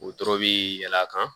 O dɔrɔn bi yɛlɛn a kan